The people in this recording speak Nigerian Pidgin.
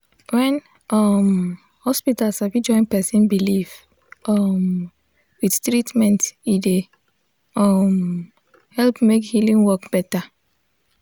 when um hospital sabi join person belief um with treatment e dey um help make healing work better.